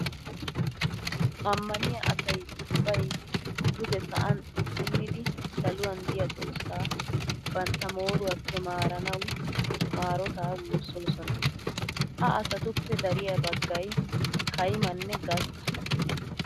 Ammaniya asay ubbay duge sa'an xuggunnidi saluwan diya xoossaa bantta mooruwappe maaranawu maarotaa woossoosona. Ha asatuppe dariya baggay kaimanne gastta.